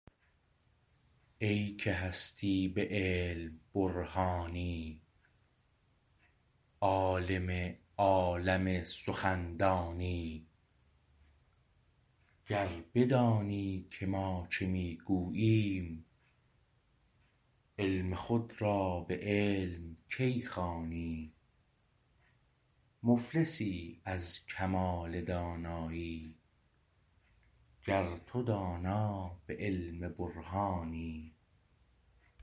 ای که هستی به علم برهانی عالم عالم سخندانی گر بدانی که ما چه می گوییم علم خود را به علم کی خوانی مفلسی از کمال دانایی گر تو دانا به علم برهانی